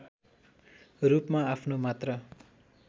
रूपमा आफ्नो मात्र